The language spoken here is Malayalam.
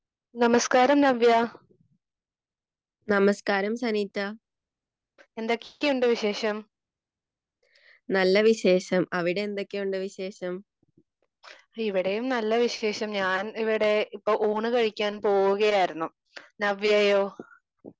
നമസ്കാരം നവ്യ. എന്തൊക്കെയുണ്ട് വിശേഷം? ഇവിടെയും നല്ല വിശേഷം.ഞാൻ ഇവിടെ ഇപ്പോ ഊണ് കഴിക്കാൻ പോകുകയായിരുന്നു. നവ്യയോ?